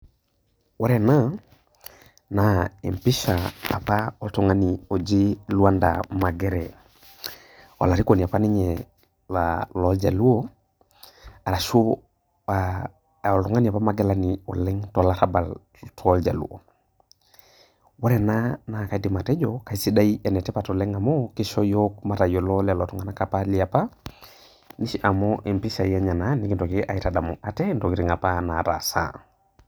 Ore ena naa empisha apa oltungani oji Luanda Magere olarikoni apa ninye loljaluo ashu oltungani apa magilani oleng tolarabal toljaluo ,ore ena na kaidim atejo enetipat oleng nisho yiok matayiolo lolo tunganak leapa amu mpishai enye ena nikitum atadamu ntokitin apa nataasa.